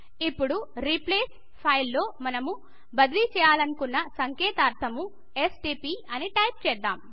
ఇప్పుడు replace field లో మనం బదిలీ చేయాలనుకున్న సంకేతాక్షరము ఎస్టీపీ అని టైపు చేద్దాం